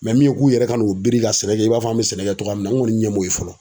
min ye k'u yɛrɛ ka n'u biri ka sɛnɛ kɛ i b'a fɔ an bɛ sɛnɛ kɛ cogoya min na an kɔni ɲɛ m'o ye fɔlɔ.